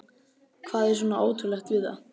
Hvað er svona ótrúlegt við það?